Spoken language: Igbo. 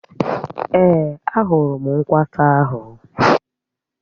Èé, a hụrụ m nkwata ahụ.